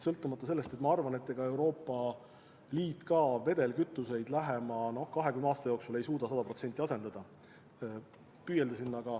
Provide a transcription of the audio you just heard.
Samas ma arvan, et ega Euroopa Liit vedelkütuseid lähima 20 aasta jooksul ei suuda sada protsenti asendada, sinnapoole vaid püüeldakse.